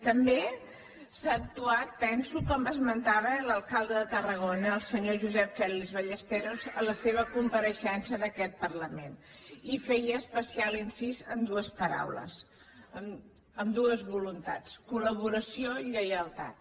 també s’ha actuat penso com esmentava l’alcalde de tarragona el senyor josep fèlix ballesteros en la seva compareixença en aquest parlament i feia especial incís en dues paraules en dues voluntats col·laboració i lleialtat